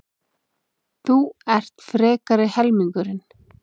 Þú ert frekari helmingurinn.